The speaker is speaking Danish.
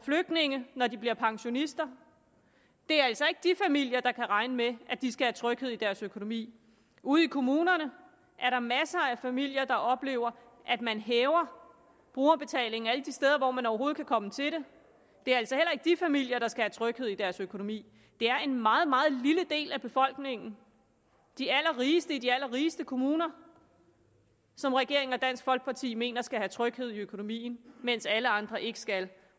flygtninge når de bliver pensionister det er altså ikke de familier der kan regne med at de skal have tryghed i deres økonomi ude i kommunerne er der masser af familier der oplever at man hæver brugerbetalingen alle de steder man overhovedet kan komme til det det er altså heller ikke de familier der skal have tryghed i deres økonomi det er en meget meget lille del af befolkningen de allerrigeste i de allerrigeste kommuner som regeringen og dansk folkeparti mener skal have tryghed i økonomien mens alle andre ikke skal